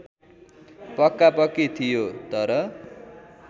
पक्कापक्की थियो तर